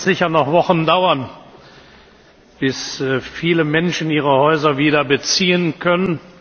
Es wird sicher noch Wochen dauern, bis viele Menschen ihre Häuser wieder beziehen können.